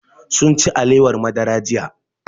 Sunci alewar madara jiya